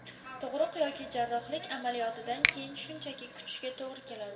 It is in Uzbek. Tug‘ruq yoki jarrohlik amaliyotidan keyin shunchaki kutishga to‘g‘ri keladi.